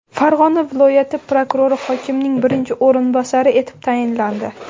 Farg‘ona viloyati prokurori hokimning birinchi o‘rinbosari etib tayinlandi.